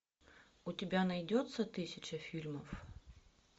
у тебя найдется тысяча фильмов